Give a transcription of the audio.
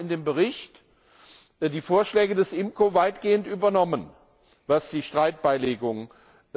Wir haben in dem Bericht die Vorschläge von IMCO weitgehend übernommen, was die Streitbeilegung angeht.